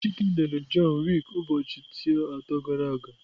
Chike lere John Wick ụbọchị teo atọ gara aga.